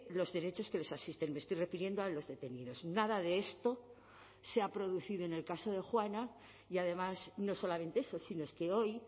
los derechos que les asisten me estoy refiriendo a los detenidos nada de esto se ha producido en el caso de juana y además no solamente eso sino es que hoy